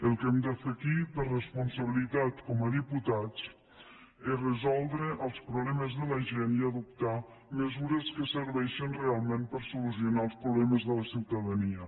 el que hem de fer aquí per responsabilitat com a diputats és resoldre els problemes de la gent i adoptar mesures que serveixin realment per solucionar els problemes de la ciutadania